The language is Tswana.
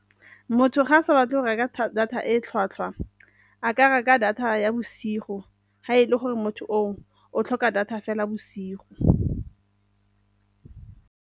Motho ga a sa batle go reka data e tlhwatlhwa a ka reka data ya bosigo ha e le gore motho o o tlhoka data fela bosigo.